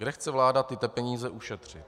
Kde chce vláda tyto peníze ušetřit?